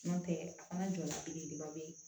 N'o tɛ a fana jɔla belebeleba bɛ yen